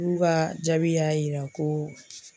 Olu ka jaabi y'a jira ko